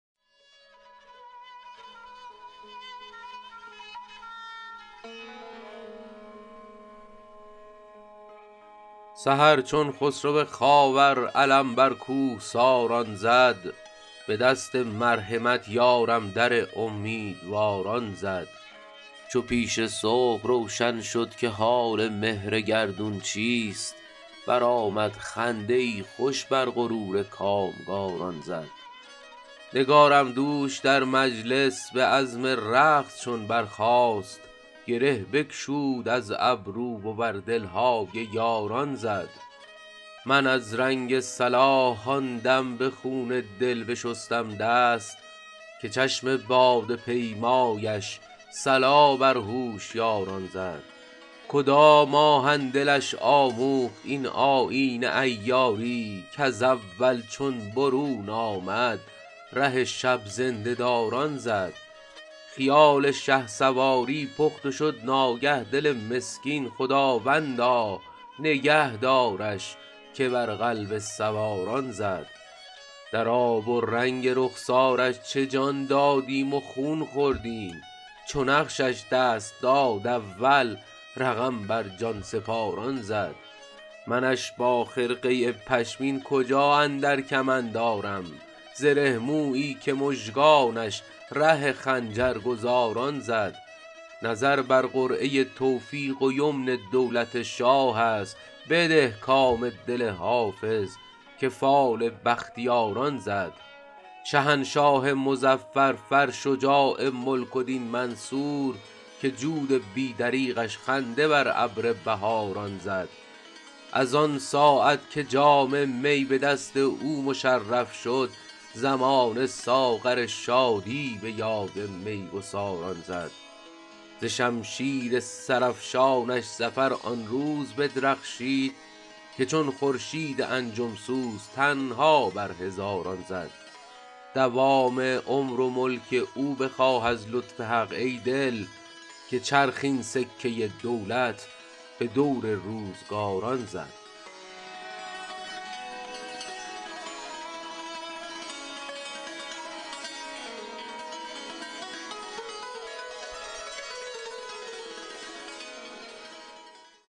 سحر چون خسرو خاور علم بر کوهساران زد به دست مرحمت یارم در امیدواران زد چو پیش صبح روشن شد که حال مهر گردون چیست برآمد خنده ای خوش بر غرور کامگاران زد نگارم دوش در مجلس به عزم رقص چون برخاست گره بگشود از گیسو و بر دل های یاران زد من از رنگ صلاح آن دم به خون دل بشستم دست که چشم باده پیمایش صلا بر هوشیاران زد کدام آهن دلش آموخت این آیین عیاری کز اول چون برون آمد ره شب زنده داران زد خیال شهسواری پخت و شد ناگه دل مسکین خداوندا نگه دارش که بر قلب سواران زد در آب و رنگ رخسارش چه جان دادیم و خون خوردیم چو نقشش دست داد اول رقم بر جان سپاران زد منش با خرقه پشمین کجا اندر کمند آرم زره مویی که مژگانش ره خنجرگزاران زد نظر بر قرعه توفیق و یمن دولت شاه است بده کام دل حافظ که فال بختیاران زد شهنشاه مظفر فر شجاع ملک و دین منصور که جود بی دریغش خنده بر ابر بهاران زد از آن ساعت که جام می به دست او مشرف شد زمانه ساغر شادی به یاد می گساران زد ز شمشیر سرافشانش ظفر آن روز بدرخشید که چون خورشید انجم سوز تنها بر هزاران زد دوام عمر و ملک او بخواه از لطف حق ای دل که چرخ این سکه دولت به دور روزگاران زد